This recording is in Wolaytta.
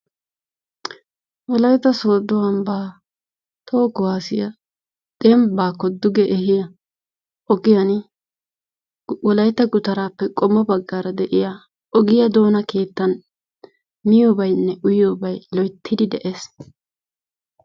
Wolaytta Soodo ambba toho kuwassiya dembbakko duge ehiya ogiyan wolaytta gutarappe qommo baggaara de'iyaa ogiya doona keettan miyoobaynne uyyiyobay loyttidi de"ees.